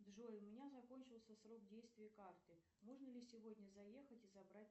джой у меня закончился срок действия карты можно ли сегодня заехать и забрать